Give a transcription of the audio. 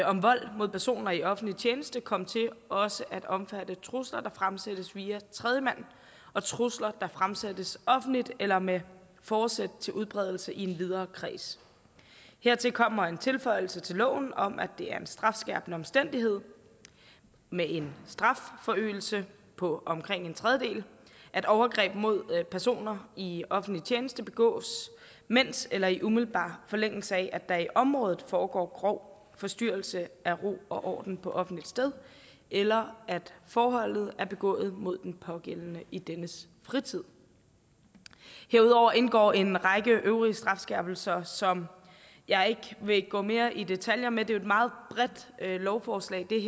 om vold mod personer i offentlig tjeneste komme til også at omfatte trusler der fremsættes via tredjemand og trusler der fremsættes offentligt eller med forsæt til udbredelse i en videre kreds hertil kommer en tilføjelse til loven om at det er en strafskærpende omstændighed med en strafforøgelse på omkring en tredjedel at overgreb mod personer i offentlig tjeneste begås mens eller i umiddelbar forlængelse af at der i området foregår grov forstyrrelse af ro og orden på offentligt sted eller at forholdet er begået mod den pågældende i dennes fritid herudover indgår en række øvrige strafskærpelser som jeg ikke vil gå mere i detaljer med det her lovforslag er